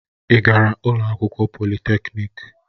Ị gara ụlọ akwụkwọ polịtekniki?